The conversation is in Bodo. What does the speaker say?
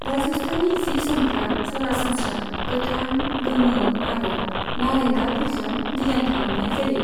राजस्थानी जि जोमफ्रा सरासनस्रा गोथां, गोमो आरो नारें गाबफोरजों डिजाइन खालामनाय जायो।